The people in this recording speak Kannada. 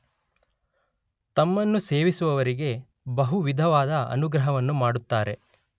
ತಮ್ಮನ್ನು ಸೇವಿಸುವವರಿಗೆ ಬಹು ವಿಧವಾದ ಅನುಗ್ರಹವನ್ನು ಮಾಡುತ್ತಾರೆ.